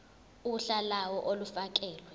uhla lawo olufakelwe